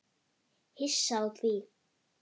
Hissa á því?